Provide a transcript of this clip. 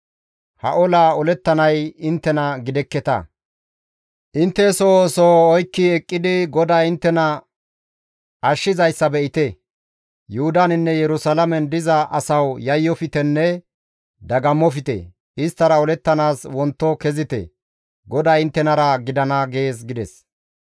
Ha olaa olettanay inttena gidekketa; intte soho soho oykki eqqidi GODAY inttena ashshizayssa be7ite; Yuhudaninne Yerusalaamen diza asawu yayyoftenne dagammofte! Isttara olettanaas wonto kezite; GODAY inttenara gidana› gees» gides.